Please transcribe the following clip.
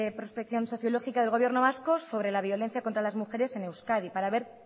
prospección sociológica del gobierno vasco sobre la violencia contra las mujeres en euskadi para ver